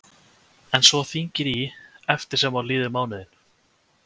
En svo þyngir í eftir sem á líður mánuðinn?